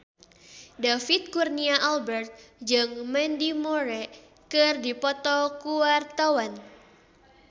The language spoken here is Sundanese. David Kurnia Albert jeung Mandy Moore keur dipoto ku wartawan